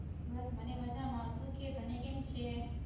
બસ મને મજામા તું કે તને કેમ છે.